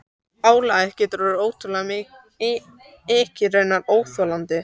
Álagið getur orðið ótrúlega mikið- raunar óþolandi.